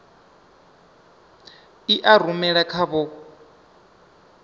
i a rumela kha vho